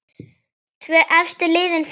Tvö efstu liðin fara áfram.